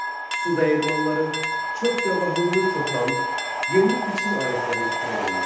Su dəyirmanları, çox yabanılı kətan, yeni biçin alətləri ixtira olundu.